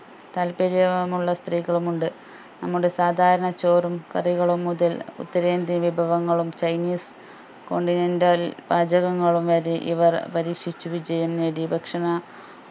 താല്പര്യ മുള്ള സ്ത്രീകളും ഉണ്ട് നമ്മുടെ സാദാരണ ചോറും കറികളും മുതൽ ഉത്തരേന്ത്യൻ വിഭവങ്ങളും ചൈനീസ് continental പാചകങ്ങളും വരെ ഇവർ പരീക്ഷിച്ച് വിജയം നേടിയ ഭക്ഷണ